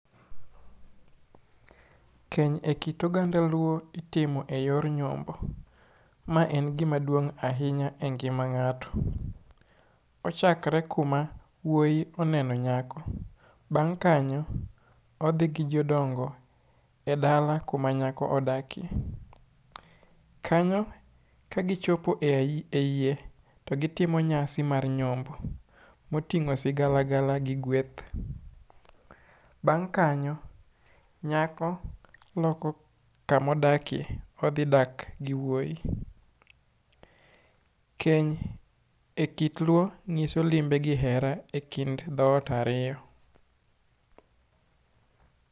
Keny e kit oganda Luo itimo e yor nyombo. Ma en gima duong' ahinya e ngima ng'ato. Ochakre kuma wuoi oneno nyako. Bang' kanyo, odhi gi jodongo e dala kuma nyako odakie. Kanyo kagichopo e yie to gitimo nyasi mar nyombo. Moting'o sigalagal gi gweth. Bang' kanyo, nyako loko kamodakie. Odhi dak gi wuoi. Keny e kit Luo nyiso limbe gi hera e kind dhot ariyo.